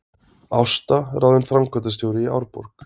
Ásta ráðin framkvæmdastjóri í Árborg